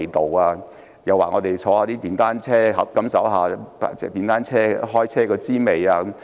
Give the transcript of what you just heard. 他們又讓我們乘坐電單車，感受一下開電單車的滋味。